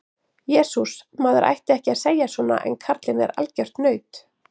Jesús, maður ætti ekki að segja svona en karlinn er algjört naut.